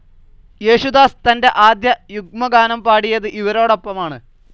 യേശുദാസ് തന്റെ ആദ്യ യുഗ്മഗാനം പാടിയത് ഇവരോടൊപ്പമാണ്‌.